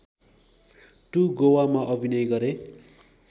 two गोवामा अभिनय गरे